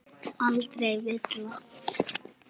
Aldrei villa.